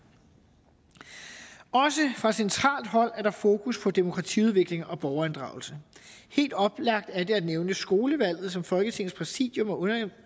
også fra centralt hold er der fokus på demokratiudvikling og borgerinddragelse helt oplagt er det at nævne skolevalget som folketingets præsidium